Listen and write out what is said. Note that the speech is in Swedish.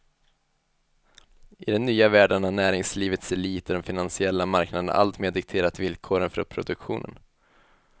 I den nya världen har näringslivets elit och de finansiella marknaderna alltmer dikterat villkoren för produktionen.